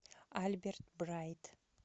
альберт брайт